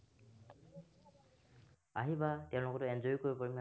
আহিবা তেওঁৰ লগতো enjoy ও কৰিব পাৰিম।